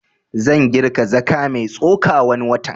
Zan girka zaka mai tsoka wani watan